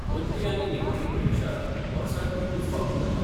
मदली आनी निमाणी परिक्षा वर्साक एकूच फावटीं जाता.